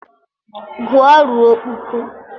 Gụọ ruo kpuku!